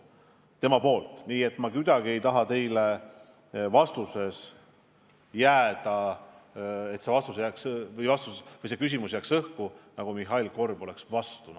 Aga ma kuidagi ei taha, et see küsimus jääks õhku, et jääks mulje, et Mihhail Korb on NATO vastu.